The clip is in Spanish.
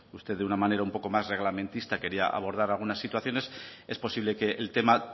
usted de una manera un poco más reglamentista quería abordar algunas situaciones es posible que el tema